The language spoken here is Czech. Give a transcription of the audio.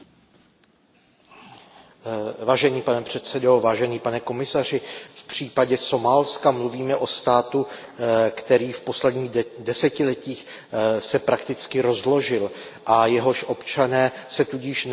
Pane předsedající, pane komisaři, v případě Somálska mluvíme o státu, který se v posledních desetiletích prakticky rozložil a jehož občané se tudíž nemohou a nemohli dovolat žádných práv.